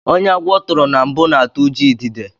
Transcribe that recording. Ónyé agwọ turu na mbụ na atụ ụjọ idide.